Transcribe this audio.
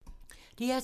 DR2